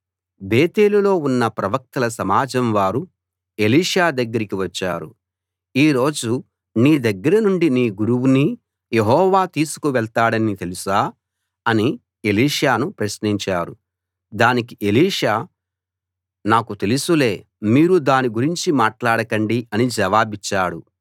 బేతేలులో ఉన్న ప్రవక్తల సమాజం వారు ఎలీషా దగ్గరికి వచ్చారు ఈ రోజు నీ దగ్గరనుండి నీ గురువుని యెహోవా తీసుకు వెళ్తాడని తెలుసా అని ఎలీషాను ప్రశ్నించారు దానికి ఎలీషా నాకు తెలుసులే మీరు దాని గురించి మాట్లాడకండి అని జవాబిచ్చాడు